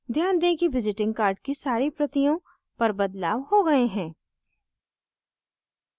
ध्यान दें कि visiting card की सारी प्रतियों पर बदलाव हो गए हैं